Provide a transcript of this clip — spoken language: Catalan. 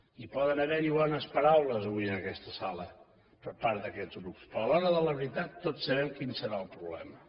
i poden haver hi bones paraules avui en aquesta sala per part d’aquests grups però a l’hora de la veritat tots sabem quin serà el problema